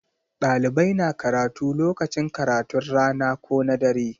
Ɗalibai na karatu lokacin karatun rana ko na dare.